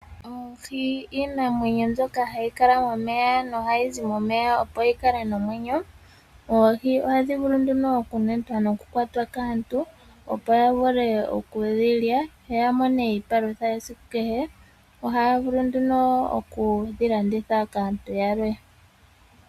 Oohi iinamwenyo mbyoka hayi kala momeya no ohayi zi momeya opo yikale nomwenyo. Oohi ohadhi vulu nduno okunetwa nokukwatwa kaantu opo yavule okudhilya yo yamone iipalutha yesiku kehe. Ohaya vulu nduno okudhilanditha kaantu yalwe.